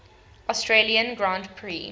australian grand prix